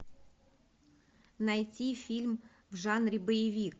найти фильм в жанре боевик